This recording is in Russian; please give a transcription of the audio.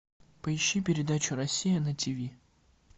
поищи передачу россия на тиви